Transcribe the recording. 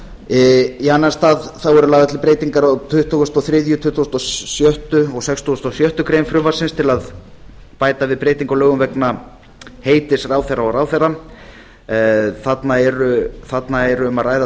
í annan stað eru lagðar til breytingar á tuttugustu og þriðja tuttugasta og sjötta og sextugustu og sjöttu greinar frumvarpsins til að bæta við breytingu á lögum vegna heitis ráðherra og ráðuneyta þarna er um að ræða